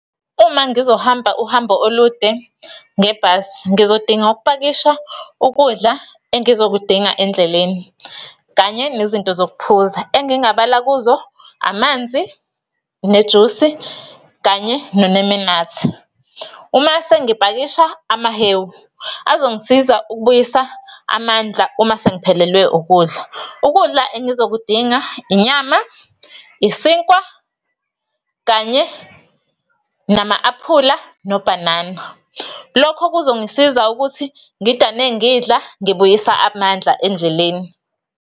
Uma ngizohamba uhambo olude ngebhasi, ngizodinga ukupakisha ukudla engizokudinga endleleni kanye nezinto zokuphuza engingabala kuzo amanzi, nejusi, kanye nonemenathi. Uma sengipakisha amahewu azongisiza ukubuyisa amandla uma sengiphelelwe ukudla. Ukudla engizokudinga inyama, isinkwa, kanye nama-aphula nobhanana. Lokho kuzongisiza ukuthi ngidane ngidla ngibuyisa amandla endleleni.